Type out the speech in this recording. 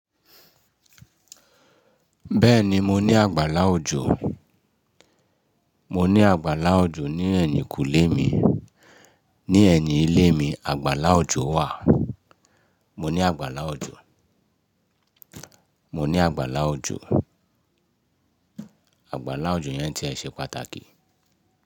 Bẹ́ẹ̀ni mo ní àgbàlá òjò, mo ní àgbàlá òjò ní ẹ̀yìnkùlé mi. Ní ẹ̀yìn ilé mi, àgbàlá òjò wà. Mo ní àgbàlá òjò, mo ní àgbàlá òjò. Àgbàlá òjò yẹn tiẹ̀ ṣe pàtàkì.